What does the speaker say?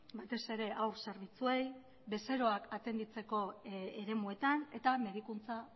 batez ere haur zerbitzuei bezeroak atenditzeko eremuetan eta medikuntza